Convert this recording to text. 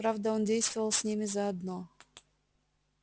правда он действовал с ними заодно